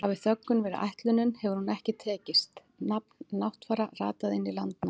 Hafi þöggun verið ætlunin hefur hún ekki tekist, nafn Náttfara rataði inn í Landnámu.